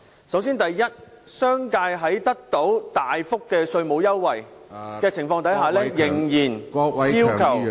首先，商界在得到大幅稅務優惠的情況下，仍然要求......